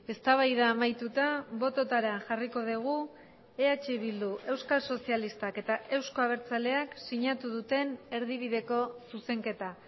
eztabaida amaituta bototara jarriko dugu eh bildu euskal sozialistak eta euzko abertzaleak sinatu duten erdibideko zuzenketa